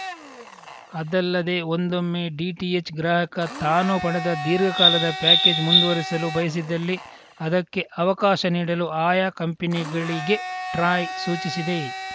ಅದಲ್ಲದೆ ಒಂದೊಮ್ಮೆ ಡಿಟಿಎಚ್‌ ಗ್ರಾಹಕ ತಾನು ಪಡೆದ ದೀರ್ಘಕಾಲದ ಪ್ಯಾಕೇಜ್‌ ಮುಂದುವರಿಸಲು ಬಯಸಿದಲ್ಲಿ ಅದಕ್ಕೆ ಅವಕಾಶ ನೀಡಲು ಆಯಾ ಕಂಪಿನಿಗಳಿಗೆ ಟ್ರಾಯ್‌ ಸೂಚಿಸಿದೆ